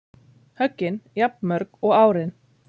Höggin jafnmörg og árin